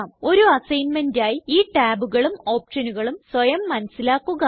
ഒരു അസൈന്മേന്റായി ഈ ടാബുകളും ഓപ്ഷനുകളും സ്വയം മനസിലാക്കുക